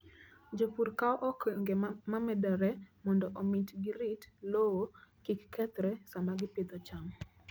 Jopur kawo okenge momedore mondo omi girit lowo kik kethre sama gipidho cham.